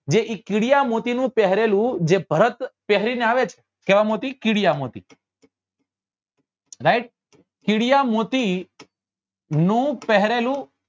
જે એ કીડીયા મોતી નું પહેરેલું જે ભરત પહેરી ને આવે છે કેવા મોતી કીડિયા મોતી right કીડીયા મોતી નું પહેરેલું